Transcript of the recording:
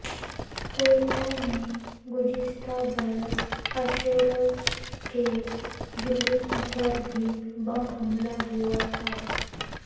کوئٹہ میں گزشہ برس عاشور کے جلوس پر بھی بم حملہ ہوا تھا